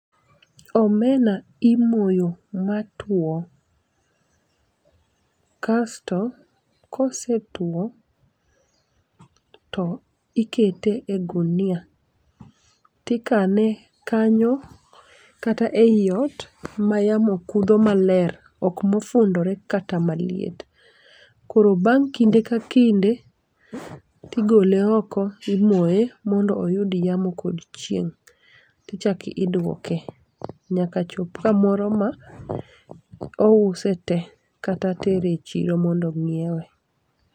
Omena imoyo matwo, kasto kosetwo to ikete e gunia, tikane kanyo kata ei ot mayamo kudho maler ok mofundore kata maliet. Koro bang' kinde ka kinde, tigole oko imoye mondo oyud yamo kod chieng' tichak iduoke, nyaka chop kamoro ma ouse te, kata tere e chiro mondo nyiewe.